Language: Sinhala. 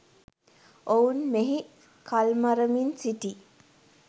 ඔවුන් මෙහි කල්මරමින් සිටී